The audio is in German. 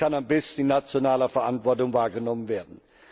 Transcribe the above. Dies kann am besten in nationaler Verantwortung wahrgenommen werden.